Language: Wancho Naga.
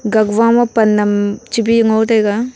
gakwo ma pan naam chebi ngo taiga.